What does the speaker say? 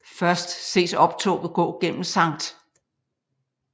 Først ses optoget gå gennem Sct